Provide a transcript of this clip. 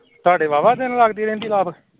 ਤਾਡੇ ਵਾ ਵਾ ਦਿਨ ਲਗਦੀ ਰਹਿੰਦੀ ਏ